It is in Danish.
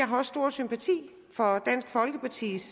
har stor sympati for dansk folkepartis